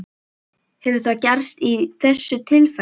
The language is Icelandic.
Hefur það gerst í þessu tilfelli?